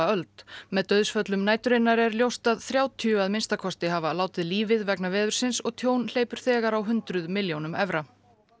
öld með dauðsföllum næturinnar er ljóst að þrjátíu að minnsta kosti hafa látið lífið vegna veðursins og tjón hleypur þegar á hundruð milljónum evra